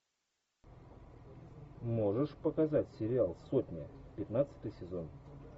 можешь показать сериал сотня пятнадцатый сезон